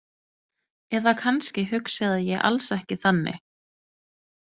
Eða kannski hugsaði ég alls ekki þannig.